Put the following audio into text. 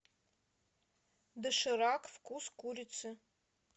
доширак вкус курицы